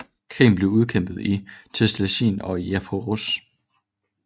Krigen blev udkæmpet i Thessalien og i Epeiros